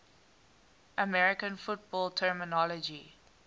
american football terminology